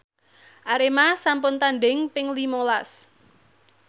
Arema sampun tandhing ping lima las